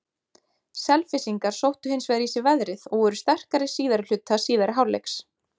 Selfyssingar sóttu hins vegar í sig veðrið og voru sterkari síðari hluta síðari hálfleiks.